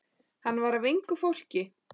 Hann var af engu fólki.